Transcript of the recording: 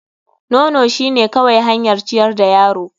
Nono shine kawai hanyar ciyar da yaro.